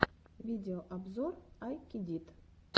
видеообзор ай кедит